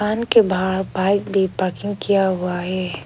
कान के बाहर बाइक भी पार्किंग किया हुआ है।